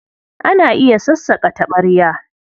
Ana iya sassaƙa taɓarya.